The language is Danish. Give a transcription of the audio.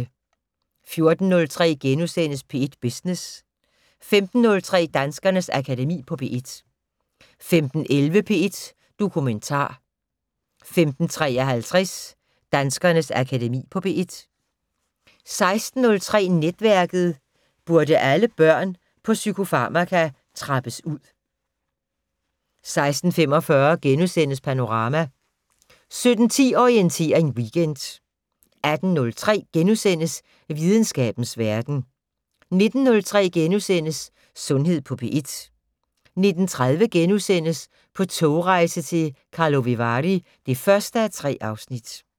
14:03: P1 Business * 15:03: Danskernes Akademi på P1 15:11: P1 Dokumentar * 15:53: Danskernes Akademi på P1 16:03: Netværket: Burde alle børn på psykofarmaka trappes ud? 16:45: Panorama * 17:10: Orientering Weekend 18:03: Videnskabens Verden * 19:03: Sundhed på P1 * 19:30: På togrejse til Karlovy Vary (1:3)*